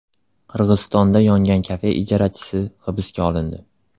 Qirg‘izistonda yongan kafe ijarachisi hibsga olindi.